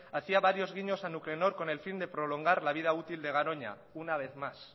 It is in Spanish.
hacía varios guiños a nuclenor con el fin de prolongar la vida útil de garoña una vez más